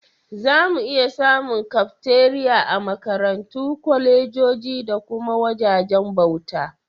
Zamu iya samun Kafteriya a Makarantu, kwalejoji da kuma wajajen bauta.